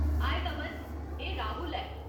हाए, नमन ! एह् राहुल ऐ।